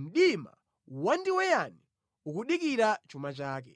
mdima wandiweyani ukudikira chuma chake.